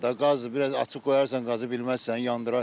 Qazı biraz açıq qoyarsan, qazı bilməzsən, yandıra.